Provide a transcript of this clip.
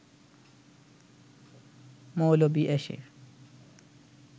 মৌলবি এসে